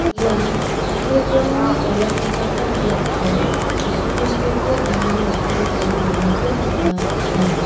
ian catholic-rangni olakkichakram biapo jisu kristoko bimang dake tarie donako nikna man·enga.